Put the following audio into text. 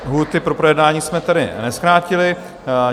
Lhůty pro projednání jsme tady nezkrátili.